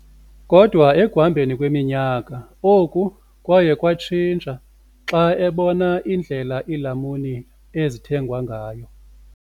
Kodwa ekuhambeni kweminyaka, oku kwaye kwatshintsha xa ebona indlela iilamuni ezithengwa ngayo.